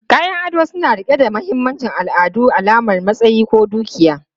Kayan ado suna riƙe da mahimmancin al'adu, alamar matsayi ko dukiya.